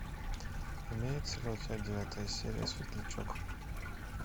имеется ли у тебя девятая серия светлячок